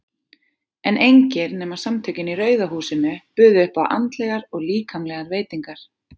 En engir nema Samtökin í Rauða húsinu buðu upp á andlegar og líkamlegar veitingar.